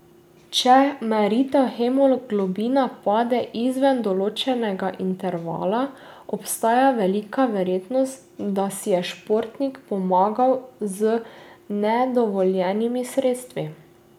Če meritev hemoglobina pade izven določenega intervala, obstaja velika verjetnost, da si je športnik pomagal z nedovoljenimi sredstvi.